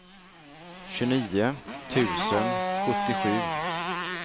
tjugonio tusen sjuttiosju